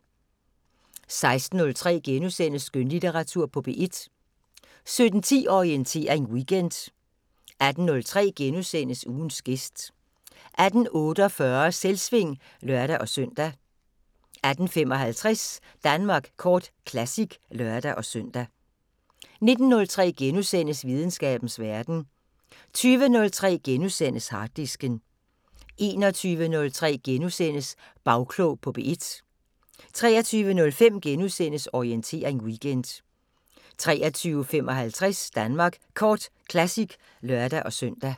16:03: Skønlitteratur på P1 * 17:10: Orientering Weekend 18:03: Ugens gæst * 18:48: Selvsving (lør-søn) 18:55: Danmark Kort Classic (lør-søn) 19:03: Videnskabens Verden * 20:03: Harddisken * 21:03: Bagklog på P1 * 23:05: Orientering Weekend * 23:55: Danmark Kort Classic (lør-søn)